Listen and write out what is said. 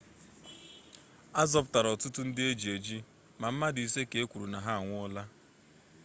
azọpụtara ọtụtụ ndị eji eji ma mmadụ isii ka ekwuru na ha anwụọla